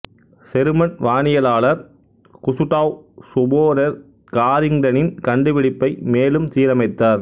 செருமன் வானியலாளர் Gustav Sporer காரிங்டனின் கண்டுபிடிப்பை மேலும் சீரமைத்தார்